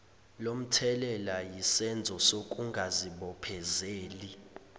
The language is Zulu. lomthelela yisenzo sokungazibophezeli